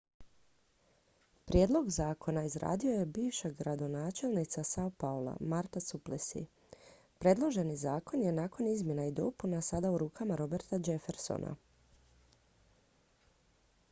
prijedlog zakona izradio je bivša gradonačelnica sao paula marta suplicy predloženi zakon je nakon izmjena i dopuna sada u rukama roberta jeffersona